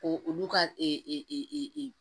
Ko olu ka e e e e e e e e